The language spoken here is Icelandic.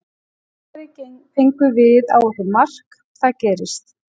Í kjölfarið fengum við á okkur mark, það gerist.